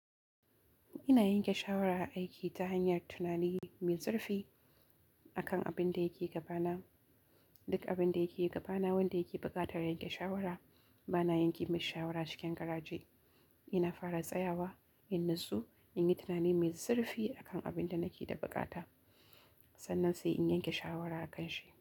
Ina yanke shawara aiki ta hanyar tunani mai zurfi akan abin da yake gabana. Duk abin da yake gabana, wanda yake buƙatar yanke shawara, bana yanke masa shawara cikin garaje. Ina fara tsayawa, in natsu, in yi tunani mai zurfi akan abin da nake da bukata, sannan sai in yanke shawara akanshi.